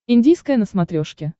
индийское на смотрешке